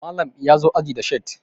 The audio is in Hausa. Malam ya zo aji da shat